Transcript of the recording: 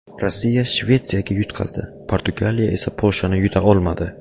Rossiya Shvetsiyaga yutqazdi, Portugaliya esa Polshani yuta olmadi.